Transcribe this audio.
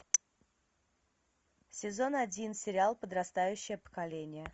сезон один сериал подрастающее поколение